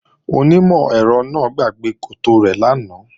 Onímọ̀-ẹ̀rọ náà gbàgbé koto rẹ̀ lánàá